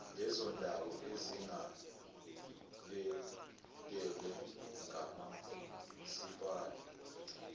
lezondawo ezingabhekelwe ngomasipala